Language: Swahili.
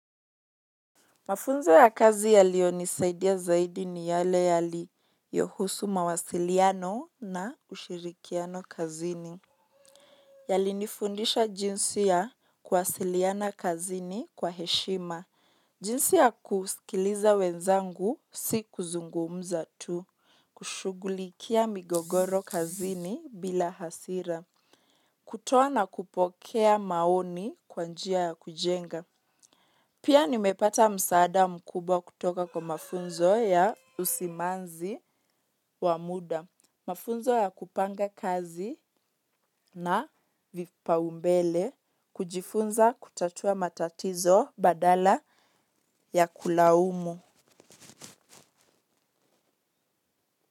Mafunzo ya kazi yaliyonisaidia zaidi ni yale yaliyohusu mawasiliano na ushirikiano kazini. Yalinifundisha jinsi ya kuwasiliana kazini kwa heshima. Jinsi ya kusikiliza wenzangu si kuzungumza tu. Kushughulikia migogoro kazini bila hasira. Kutoa na kupokea maoni kwa njia ya kujenga. Pia nimepata msaada mkubwa kutoka kwa mafunzo ya usimanzi wa muda, mafunzo ya kupanga kazi na vipaumbele, kujifunza kutatua matatizo badala ya kulaumu.